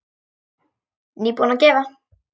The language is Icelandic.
Nýbúin að gefa.